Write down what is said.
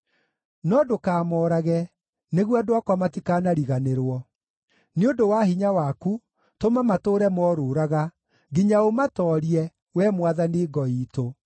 No ndũkamoorage, nĩguo andũ akwa matikanariganĩrwo. Nĩ ũndũ wa hinya waku, tũma matũũre morũũraga, nginya ũmatoorie, Wee Mwathani ngo iitũ.